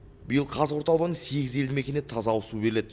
биыл қазығұрт ауданының сегіз елді мекеніне таза ауызсу беріледі